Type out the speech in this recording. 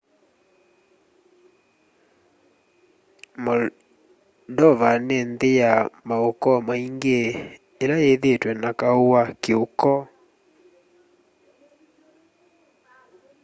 moldova nĩ nthĩ ya maũkoo maingĩ ĩla yĩthĩtwe na kau wa kĩ'ũkoo